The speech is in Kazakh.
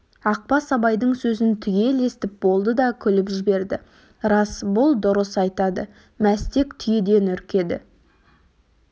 ақбас абайдың сөзін түгел естіп болды да күліп жіберді рас бұл дұрыс айтады мәстек түйеден үркеді